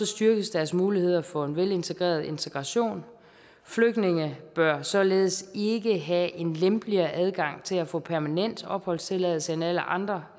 styrkes deres muligheder for en velintegreret integration flygtninge bør således ikke have en lempeligere adgang til at få permanent opholdstilladelse end alle andre